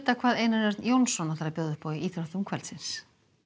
hvað Einar Örn Jónsson býður upp á í íþróttum kvöldsins